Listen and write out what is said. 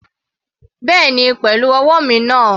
Bẹ́ẹ̀ni pẹ̀lú ọwọ́ mi náà.